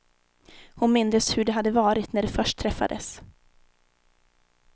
Hon mindes hur det hade varit när de först träffades.